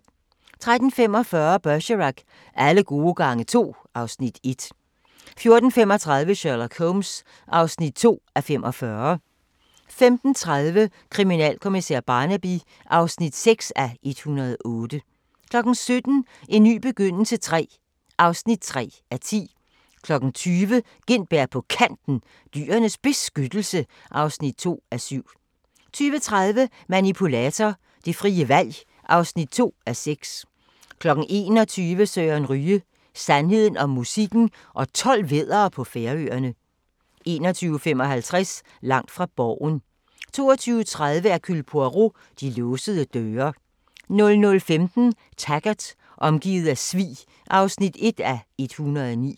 13:45: Bergerac: Alle gode gange to (Afs. 1) 14:35: Sherlock Holmes (2:45) 15:30: Kriminalkommissær Barnaby (6:108) 17:00: En ny begyndelse III (3:10) 20:00: Gintberg på Kanten – Dyrenes Beskyttelse (2:7) 20:30: Manipulator – det frie valg (2:6) 21:00: Søren Ryge: Sandheden om musikken og 12 væddere på Færøerne 21:55: Langt fra Borgen 22:30: Hercule Poirot: De låsede døre 00:15: Taggart: Omgivet af svig (1:109)